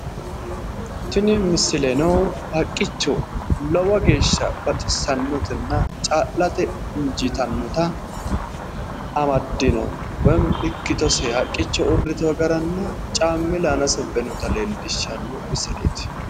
Tini misileno haqqicho lowo geesha baxissannotenna caa'late injiitannota amaddino woyimmi ikkitose haqqicho uurritewo garanna caammile aanase ubbe noota leellishanno misileeti